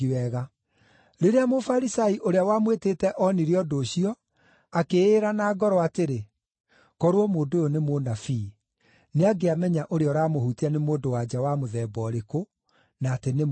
Rĩrĩa Mũfarisai ũrĩa wamwĩtĩte onire ũndũ ũcio, akĩĩra na ngoro atĩrĩ, “Korwo mũndũ ũyũ nĩ mũnabii, nĩangĩamenya ũrĩa ũramũhutia nĩ mũndũ-wa-nja wa mũthemba ũrĩkũ, na atĩ nĩ mwĩhia.”